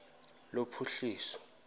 lophuhliso